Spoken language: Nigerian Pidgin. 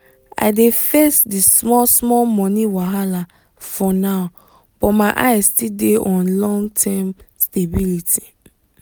i dey face the small-small money wahala for now but my eyes still dey on long-term stability.